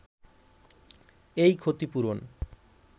এই ক্ষতিপূরণ